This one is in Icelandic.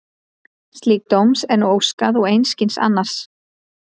Slíks dóms er nú óskað og einskis annars.